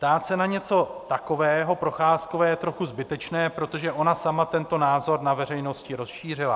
Ptát se na něco takového Procházkové je trochu zbytečné, protože ona sama tento názor na veřejnosti rozšířila.